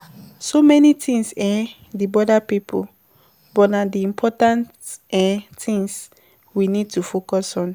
So many things um dey bother pipo but na di important um things we need to focus on